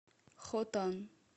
хотан